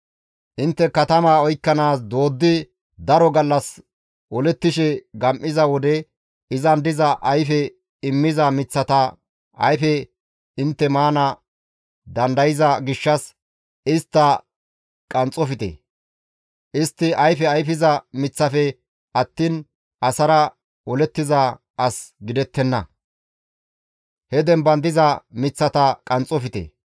Intte katamaa oykkanaas dooddi daro gallas olettishe gam7iza wode izan diza ayfe immiza miththata ayfe intte maana dandayza gishshas istta qanxxofte; istti ayfe ayfiza miththafe attiin asara olettiza as gidettenna; he demban diza miththata qanxxofte.